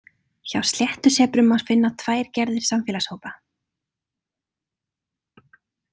Hjá sléttusebrum má finna tvær gerðir samfélagshópa.